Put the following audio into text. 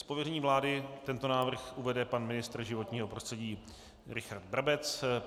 Z pověření vlády tento návrh uvede pan ministr životního prostředí Richard Brabec.